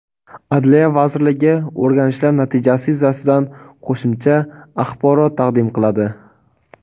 Adliya vazirligi o‘rganishlar natijasi yuzasidan qo‘shimcha axborot taqdim qiladi.